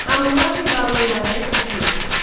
Hamurapi qanunlarını oxuyun.